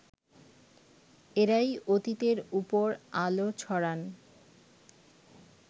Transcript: এঁরাই অতীতের ওপর আলো ছড়ান